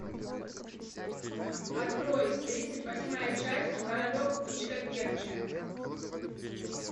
открой тридцать восьмая часть королек птичка певчая